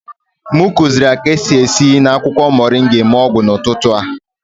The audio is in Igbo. M kuziri ya ka-esi esi na akwụkwọ moringa eme ọgwụ n'ụtụtụ a